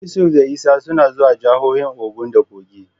Yusuf da Isa suna zuwa jahohin Ogun da Kogi.